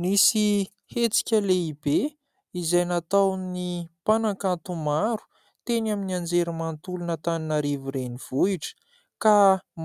Nisy hetsika lehibe izay nataon'ny mpanankanto maro teny amin'ny anjerimanotolon' Antananarivo renivohitra ka